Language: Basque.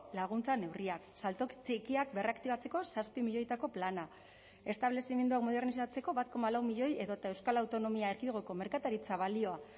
laguntza neurriak salto txikiak berraktibatzeko zazpi milioitako plana establezimenduak modernizatzeko bat koma lau milioi edota euskal autonomia erkidegoko merkataritza balioa